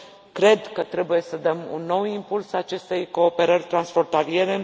Cred că trebuie să dăm un nou impuls acestei cooperări transfrontaliere.